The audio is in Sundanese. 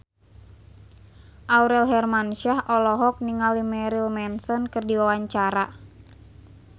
Aurel Hermansyah olohok ningali Marilyn Manson keur diwawancara